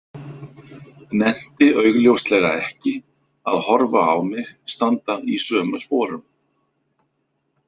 Nennti augljóslega ekki að horfa á mig standa í sömu sporum.